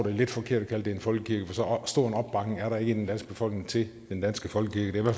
er lidt forkert at kalde den en folkekirke for så stor en opbakning er der ikke i den danske befolkning til den danske folkekirke det